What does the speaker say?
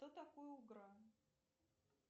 кто такой угра